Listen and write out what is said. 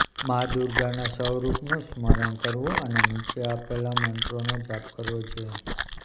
માં દુર્ગાના સ્વરૂપોનું સ્મરણ કરવું અને નીચે આપેલા મંત્રનો જાપ કરવો જોઈએ